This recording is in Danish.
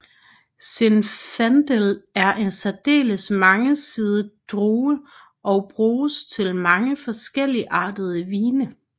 Zinfandel er en særdeles mangesidet drue og bruges til mange forskelligartede vine